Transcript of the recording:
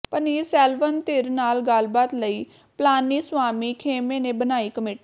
ਪੰਨੀਰਸੇਲਵਮ ਧਿਰ ਨਾਲ ਗੱਲਬਾਤ ਲਈ ਪਲਾਨੀਸਵਾਮੀ ਖੇਮੇ ਨੇ ਬਣਾਈ ਕਮੇਟੀ